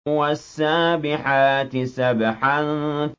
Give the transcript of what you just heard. وَالسَّابِحَاتِ سَبْحًا